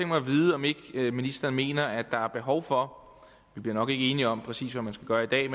mig at vide om ikke ministeren mener at der er behov for vi bliver nok ikke enige om præcis hvad man skal gøre i dag